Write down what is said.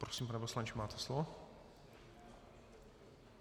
Prosím, pane poslanče, máte slovo.